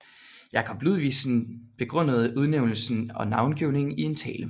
Jacob Ludvigsen begrundede udnævnelsen og navngivningen i en tale